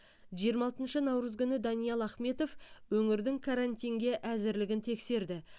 жиырма алтыншы наурыз күні даниал ахметов өңірдің карантинге әзірлігін тексерді